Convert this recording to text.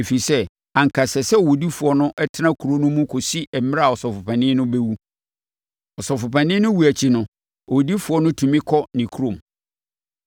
ɛfiri sɛ, anka ɛsɛ sɛ owudifoɔ no tena kuro no mu kɔsi mmerɛ a ɔsɔfopanin no bɛwu. Ɔsɔfopanin no wuo akyi no, owudifoɔ no tumi kɔ ne kurom.